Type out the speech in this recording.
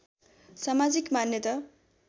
समाजिक मान्यता